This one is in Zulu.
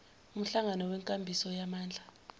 umhlangano wenkambiso yamandla